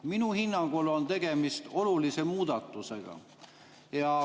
Minu hinnangul on tegemist olulise muudatusega.